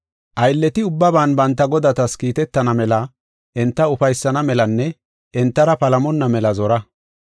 Aylleti ubbaban banta godatas kiitetana mela enta ufaysana melanne entara palamonna mela zora.